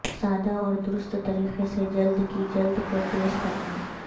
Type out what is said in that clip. سادہ اور درست طریقے سے جلد کی جلد کو تیز کرنا